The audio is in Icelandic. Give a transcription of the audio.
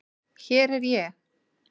Hér er ég.